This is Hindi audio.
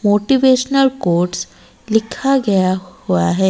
मोटिवेशनल कोट्स लिखा गया हुआ है।